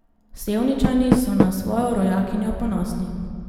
Sevničani so na svojo rojakinjo ponosni.